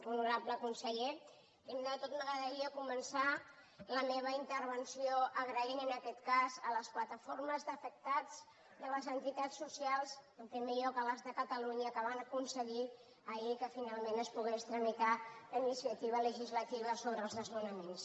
honorable conseller primer de tot m’agradaria començar la meva intervenció donant les gràcies en aquest cas a les plataformes d’afectats i a les entitats socials en primer lloc a les de catalunya que van aconseguir ahir que finalment es pogués tramitar la iniciativa legislativa sobre els desnonaments